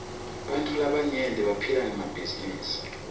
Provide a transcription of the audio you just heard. bantfu labaryenti baphila ngemabhizinisi